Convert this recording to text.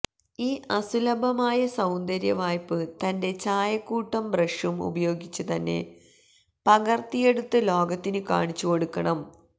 ഈ അസുലഭമായ സൌന്ദര്യ വായ്പ്പ് തന്റെ ചായക്കൂട്ടും ബ്രഷും ഉപയോഗിച്ചു തന്നെ പകര്ത്തിയെടുത്ത് ലോകത്തിനു കാണിച്ചു കൊടുക്കണം